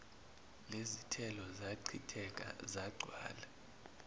lezithelo zachitheka zagcwala